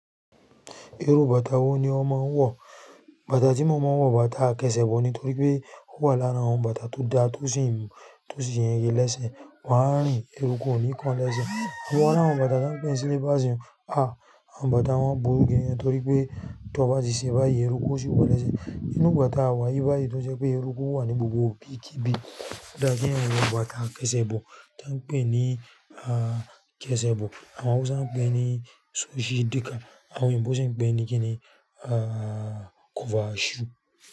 Irú bàtà wo ni ó máa ń wọ̀? Bàtà tí mo máa ń wọ̀, bàtà akẹ́sẹ̀ bọ̀ nítorí pé ó wà lára àwọn bàtà tó da tó sì yege lese. Wọ́n á rìn, eruku ò ní kan o lẹ́ṣe. So wa ri àwọn bàtà tọ́ n pè ní slippers àwọn bàtà wọ́n burú gan nítorí pé tó bá tese bo bayi ẹrúkú o sì wọ o lésẹ̀. Ninú igba ta wà yì bà yìí tó jẹ́ pé ẹrúkú wà ní gbogbo ibi kí bi. Ò dá kí eeyan wọ bàtà akẹ́sẹ̀ bọ̀ tọ́ n pè ní kẹ́sẹ̀ bọ̀, àwọn Hausa ń pè ní ṣu ṣí dika, àwọn òyìnbó sì ń pè ní kí ni kọ́fà ṣú.